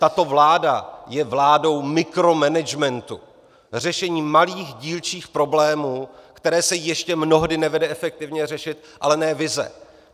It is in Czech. Tato vláda je vládou mikromanagementu, řešení malých dílčích problémů, které se ještě mnohdy nevede efektivně řešit, ale ne vize.